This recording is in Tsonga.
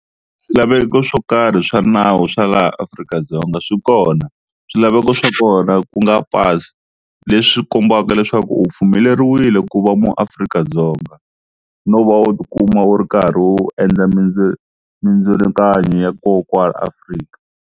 Swilaveko swo karhi swa nawu swa laha Afrika-Dzonga swi kona, swilaveko swa kona ku nga pasi leswi kombaka leswaku u pfumeleriwile ku va muAfrika-Dzonga no va u tikuma u ri karhi u endla mindzilakano ya kona kwala Afrika.